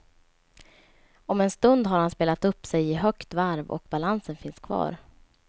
Om en stund har han spelat upp sig i högt varv och balansen finns kvar.